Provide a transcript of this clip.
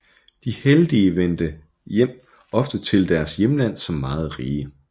De heldige vendte ofte tilbage til deres hjemland som meget rige